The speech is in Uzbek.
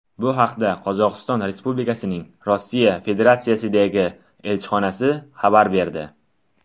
Bu haqda Qozog‘iston Respublikasining Rossiya Federatsiyasidagi elchixonasi xabar berdi .